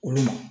Olu